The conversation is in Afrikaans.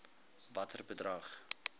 watter bedrag